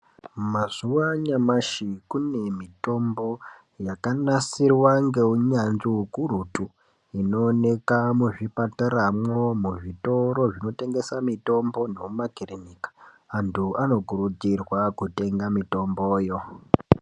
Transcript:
Mazuwa anyamashi kune mitombo yakanasirwa ngeunyanzvi ukurutu inoonekwa muzvipataramwo, zvitoro zvinotengesa mitombo nemumakirinika. Antu anokurudzirwa kutenga mitomboyo.